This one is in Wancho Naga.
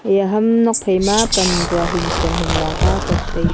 eya ham nuak phai ma pan tsua hing kon hing la ka bam tai ley.